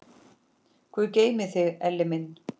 Guð geymi þig, Elli minn.